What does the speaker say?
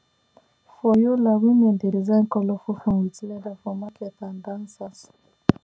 for yola women dey design colourful fan with leather for market and dancers